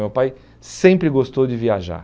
Meu pai sempre gostou de viajar.